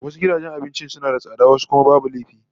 Wasu gidajen abincin suna da tsada wasu kuma babu laifi